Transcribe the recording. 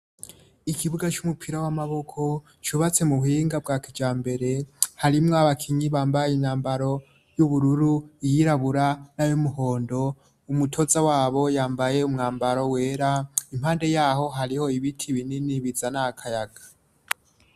Ikibuga c'umupira w'amaboko cubatse mu buwinga bwa kija mbere harimwo abakinyi bambaye imyambaro y'ubururu iyirabura n'awomuhondo umutoza wabo yambaye umwambaro wera impande yaho hariho ibiti binini biza n' akayaga.